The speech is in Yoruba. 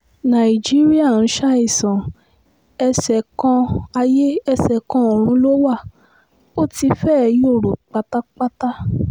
nàìjíríà ń ṣàìsàn ẹsẹ̀ kan ayé ẹsẹ̀ kan ọ̀run ló wá ó ti fẹ́ẹ́ yòrò pátápátá